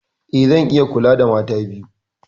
Eh, zan iya kula da mata biyu.